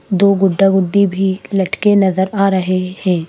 दो गुड्डा-गुड्डी भी लटके नजर आ रहे हैं।